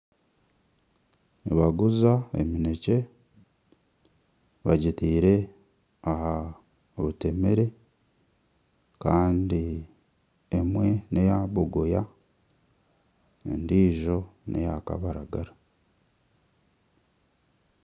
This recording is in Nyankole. Nibaguza eminekye bagitaire aha butemere kandi emwe ni eya mbogoya endijo ni eya kabaragara.